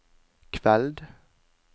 kveld